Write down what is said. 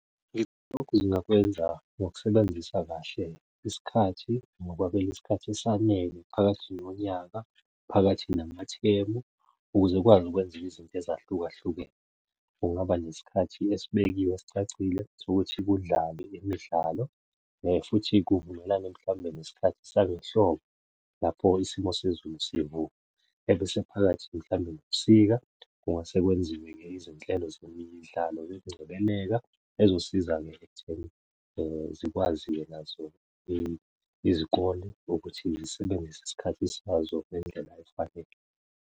Lokhu zingakwenza ngokusebenzisa kahle isikhathi ngokwabela isikhathi esanele phakathi nonyaka, phakathi namathemu, ukuze ukwazi ukwenza ezinye izinto ezahlukahlukene. Kungaba nesikhathi esibekiwe esicacile sokuthi kudlalwe imidlalo futhi kuvumelane mhlawumbe nesikhathi sangehlobo, lapho isimo sezulu sivuma. Ebese phakathi mhlawumbe nobusika kungase kwenziwe-ke izinhlelo zemidlalo yokungcebeleka ezosiza-ke ekutheni zikwazi-ke nazo izikole ukuthi zisebenzise isikhathi sazo ngendlela efanele.